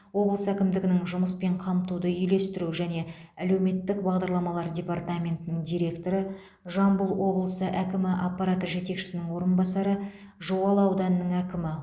облыс әкімдігінің жұмыспен қамтуды үйлестіру және әлеуметтік бағдарламалар департаментінің директоры жамбыл облысы әкімі аппараты жетекшісінің орынбасары жуалы ауданының әкімі